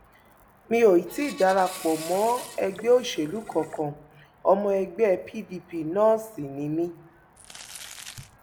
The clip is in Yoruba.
mi ò tí ì dara pọ mọ ẹgbẹ òṣèlú kankan ọmọ ẹgbẹ pdp náà sì ni mí